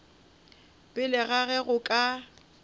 pele ga ge go ka